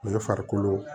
U ye farikolo